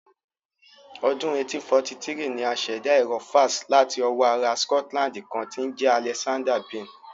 Ọdún 1843 ni a ṣẹ̀dá Ẹ̀rọ fax láti ọwọ́ ará Scotland kan tí ń jẹ́ Alexander Bain